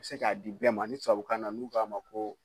Be se ka di bɛɛ ma, ni tubabukan na n'u k'a ma ko